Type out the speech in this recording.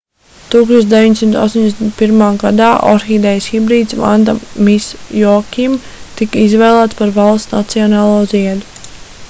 1981. gadā orhidejas hibrīds vanda miss joaquim tika izvēlēts par valsts nacionālo ziedu